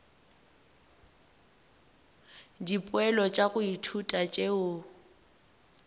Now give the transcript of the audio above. dipoelo tša go ithuta tšeo